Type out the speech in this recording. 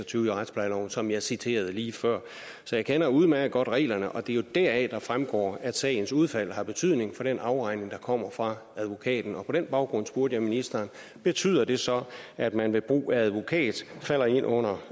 tyve i retsplejeloven som jeg citerede lige før så jeg kender udmærket godt reglerne og det er jo deraf det fremgår at sagens udfald har betydning for den afregning der kommer fra advokaten og på den baggrund spurgte jeg ministeren betyder det så at man ved brug af advokat falder ind under